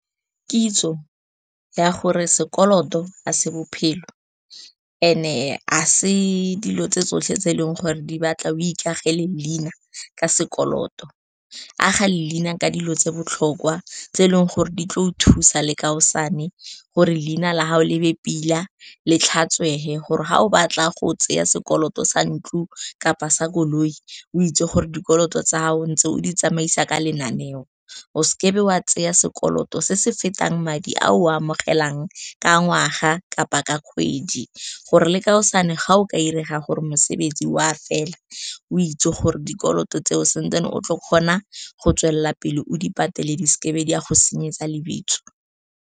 Kitso ya gore sekoloto a se bophelo and-e ga se dilo tse tsotlhe tse e leng gore di batla o ikagele leina. Ke sekoloto a ga leina ka dilo tse botlhokwa tse e leng gore di tla o thusa le kaosane gore leina la gago le be pila le tlhatswege, gore ga o batla go tseya sekoloto sa ntlo kapa sa koloi, o itse gore dikoloto tsa gago ntse o di tsamaisa ka lenaneo. O seke wa tsaya sekoloto se se fetang madi a o amogelang ka ngwaga kapa ka kgwedi, gore le kaosane ga o ka direga gore mosebetsi oa fela, o itse gore dikoloto tseo sentse o tlo kgona go tswelela pele o di patele, di seke di a go senyetsa lebitso.